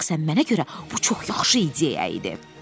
Şəxsən mənə görə bu çox yaxşı ideya idi.